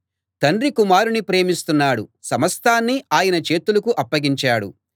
తండ్రి కుమారుణ్ణి ప్రేమిస్తున్నాడు సమస్తాన్నీ ఆయన చేతులకు అప్పగించాడు